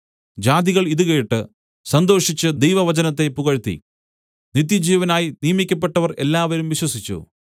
ജാതികൾ ഇതുകേട്ട് സന്തോഷിച്ച് ദൈവവചനത്തെ പുകഴ്ത്തി നിത്യജീവനായി നിയമിക്കപ്പെട്ടവർ എല്ലാവരും വിശ്വസിച്ചു